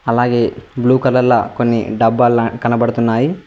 అలాగే blue colour లో కొన్ని డబ్బాల కనపడుతున్నాయి.